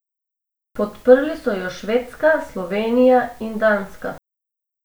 Podprli so jo Švedska, Slovenija in Danska.